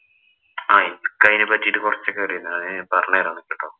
ആഹ് എനിക്കതിനെ പറ്റീട്ട് കൊറച്ചൊക്കെ അറിയാം. ഞാന് പറഞ്ഞുതരാം നിനക്ക് കേട്ടോ.